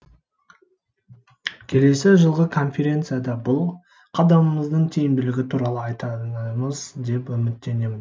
келесі жылғы конференцияда бұл қадамымыздың тиімділігі туралы айтамыз деп үміттенемін